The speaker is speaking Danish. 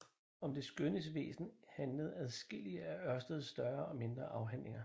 Om det skønnes væsen handlede adskillige af Ørsteds større og mindre afhandlinger